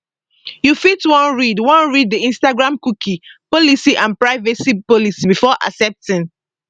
you fit wan read wan read di instagramcookie policyandprivacy policybefore accepting